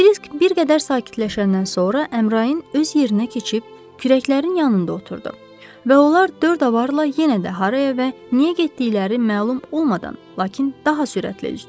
Krisk bir qədər sakitləşəndən sonra Əmrain öz yerinə keçib kürəklərin yanında oturdu və onlar dörd avarla yenə də haraya və niyə getdikləri məlum olmadan, lakin daha sürətli üzdülər.